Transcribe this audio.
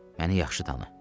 Məni yaxşı tanı.